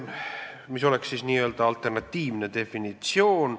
See oleks n-ö alternatiivne definitsioon.